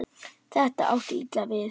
Þetta átti illa við